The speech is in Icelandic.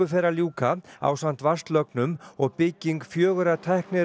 fer að ljúka ásamt vatnslögnum og bygging fjögurra